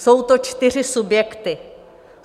Jsou to čtyři subjekty.